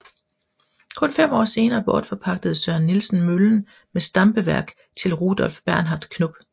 Kun fem år senere bortforpagtede Søren Nielsen møllen med stampeværk til Rudolph Bernhard Knop